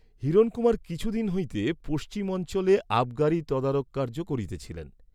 হিরণকুমার কিছু দিন হইতে পশ্চিম অঞ্চলে আবগারী তদারক কার্য্য করিতেছিলেন।